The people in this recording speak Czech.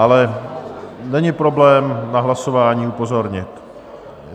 Ale není problém na hlasování upozornit.